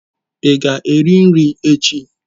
Ị ga-eri nri echi?